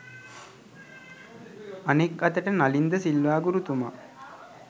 අනෙක් අතට නලින් ද සිල්වා ගුරුතුමා